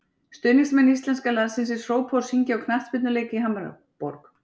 Stuðningsmenn íslenska landsliðsins hrópa og syngja á knattspyrnuleik í Hamborg.